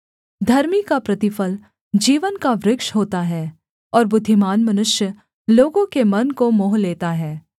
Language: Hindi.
धर्मी का प्रतिफल जीवन का वृक्ष होता है और बुद्धिमान मनुष्य लोगों के मन को मोह लेता है